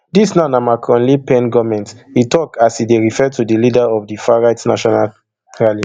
dis now na macronle pen goment e tok as e dey refer to di leader of di farright national rally